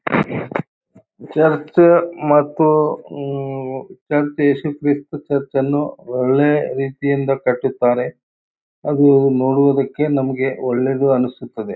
Church ಮತ್ತು ಉಹ್ಹ್ church Yesu Krista church ಅನ್ನು ಒಳ್ಳೆ ರೀತಿಯಿಂದ ಕಟ್ಟತ್ತಾರೆ ಅದು ನೋಡುವುದಕ್ಕೆ ನಮಗೆ ಒಳ್ಳೆಯದು ಅನ್ನಿಸುತ್ತದೆ.